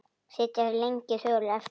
Sitja þeir lengi þögulir eftir.